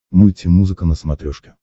мульти музыка на смотрешке